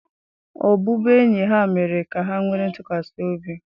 Ọbụbụenyi ha mere ka ha nwee ntụkwasị obi.